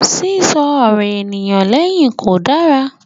Sísọ ọ̀rọ̀ ènìyàn lẹ́yìn kò dára.